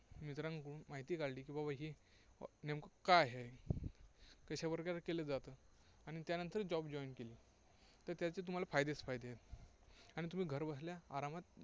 मित्रांकडून माहिती काढली की बाबा ही नेमकं काय आहे? कशा प्रकारे केले जाते? आणि त्यानंतर Job join केली तर त्याचे तुम्हाला तर त्याचे तुम्हाला फायदे फायदे आहेत. आणि तुम्ही घरबसल्या आरामात